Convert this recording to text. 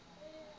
mohahamoriti